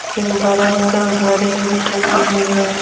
एक बड़ा सा घड़ी भी टंगी हुई है।